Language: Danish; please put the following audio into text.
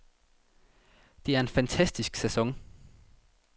Det er en fantastisk sæson.